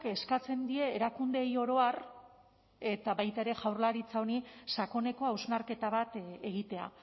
eskatzen die erakundeei oro har eta baita ere jaurlaritza honi sakoneko hausnarketa bat egitea